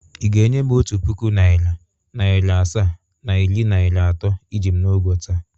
Ị ga-enye m otu puku naịra, naịra asaa na iri naịra atọ iji m n’ụgwọ taa?